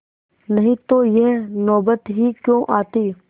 नहीं तो यह नौबत ही क्यों आती